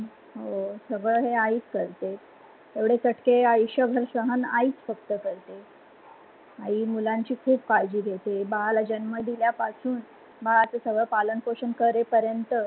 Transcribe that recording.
हो सगळ हे आईच करते. एवढे चटके आयुष्यभर आईच सहन करते. आई मुलाची ख़ुप काळजी घेते बाळाला जन्म दिल्यापासुन बाळाला सगळं पालन पोषण करे पर्यंत.